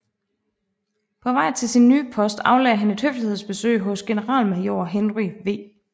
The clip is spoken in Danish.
På vej til sin nye post aflagde han et høflighedsbesøg hos generalmajor Henry W